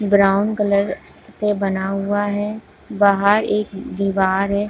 Brown colour से बना हुआ है बाहर एक दिवार है।